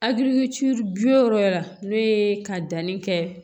Hakili co yɔrɔ yɛrɛ la n'o ye ka danni kɛ